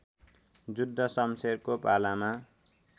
जुद्ध सम्शेरको पालामा